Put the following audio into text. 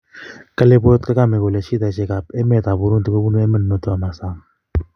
Kale boyot Kagame kole shidaishek ap emet ap Burundi kobunu emet notok ama sang